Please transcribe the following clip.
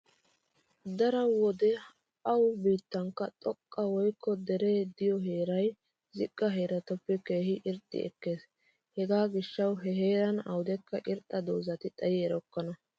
Daro wode awu biittankka xoqqa woykko dere diyo heeray ziqqa heeratuppe keehi irxxi ekkees. Hegaa gishshawu he heeran awudekka irxxa doozati xayi erokkona.